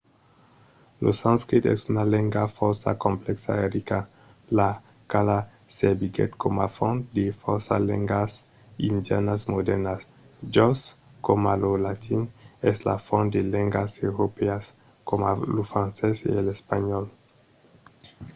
lo sanscrit es una lenga fòrça complèxa e rica la quala serviguèt coma font de fòrça lengas indianas modèrnas just coma lo latin es la font de lengas europèas coma lo francés e l’espanhòl